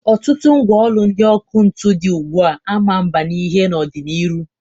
Ọtụtụ mgwa ọlụ ndị ọkụ ntụ dị ugbua a ma mba n'ihe n'ọ dị n'iru.